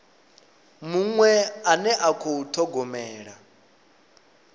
muṅwe ane a khou thogomela